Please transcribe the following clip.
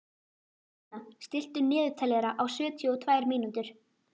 Salína, stilltu niðurteljara á sjötíu og tvær mínútur.